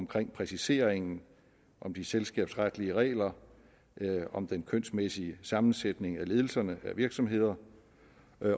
præciseringen af de selskabsretlige regler om den kønsmæssige sammensætning af ledelserne i virksomheder